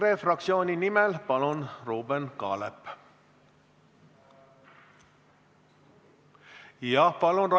EKRE fraktsiooni nimel, palun, Ruuben Kaalep!